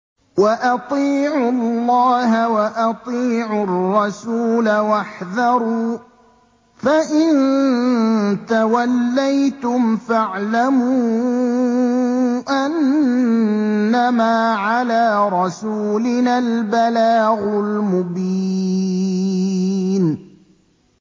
وَأَطِيعُوا اللَّهَ وَأَطِيعُوا الرَّسُولَ وَاحْذَرُوا ۚ فَإِن تَوَلَّيْتُمْ فَاعْلَمُوا أَنَّمَا عَلَىٰ رَسُولِنَا الْبَلَاغُ الْمُبِينُ